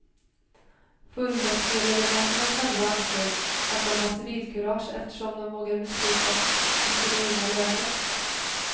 Fullmäktigeledamöterna själva ansåg, att de har civilkurage eftersom de vågar besluta om sina egna löner.